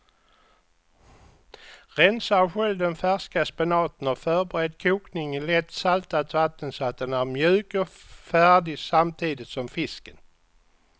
Rensa och skölj den färska spenaten och förbered kokning i lätt saltat vatten så att den är mjuk och färdig samtidigt som fisken.